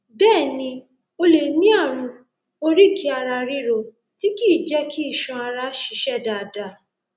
bẹẹ ni o lè ní ààrùn oríkèéararíro tí kìí jẹ kí iṣan ara ṣiṣẹ dáadáa